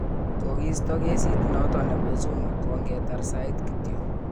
kokiisto kesit not kobo Zuma kongetar sait kityo